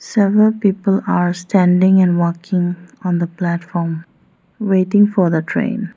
Several people are standing and walking on the platform waiting for the train.